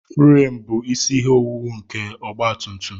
Furem bụ isi ihe owuwu nke ọgba tum tum